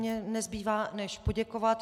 Mně nezbývá než poděkovat.